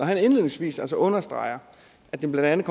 han indledningsvis altså understreger at det blandt